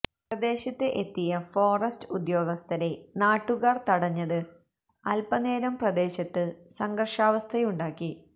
പ്രദേശത്ത് എത്തിയ ഫോസ്റ്റ് ഉദ്യോഗസ്ഥരെ നാട്ടുകാർ തടഞ്ഞത് അൽപ്പ നേരം പ്രദേശത്ത് സംഘർഷാവസ്ഥയുണ്ടാക്കി